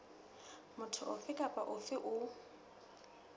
motho ofe kapa ofe o